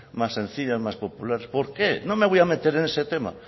más sencillas más populares por qué no me voy a meter en ese tema